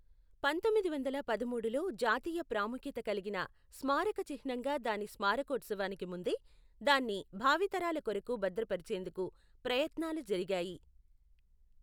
పంతొమ్మిది వందల పదమూడులో జాతీయ ప్రాముఖ్యత కలిగిన స్మారక చిహ్నంగా దాని స్మారకోత్సవానికి ముందే, దాన్ని భావితరాల కొరకు భద్రపరిచేందుకు ప్రయత్నాలు జరిగాయి.